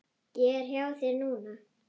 Ég er hjá þér núna.